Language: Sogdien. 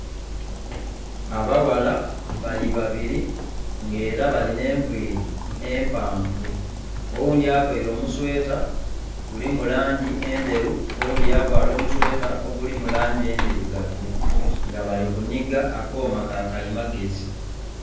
Abaghala bali babiri nga era balina enviri empanvu oghundhi availe omusweta gulimu langi endheru, oghundhi yavaala omusweta ogulimu langi endhirugavu nga bali kunhig akooma ka kali magezi.